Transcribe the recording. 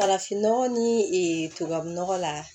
Farafinnɔgɔ ni ee tubabu nɔgɔ la